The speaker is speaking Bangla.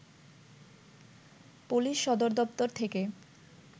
পুলিশ সদরদপ্তর থেকে